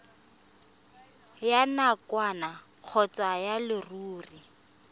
ya nakwana kgotsa ya leruri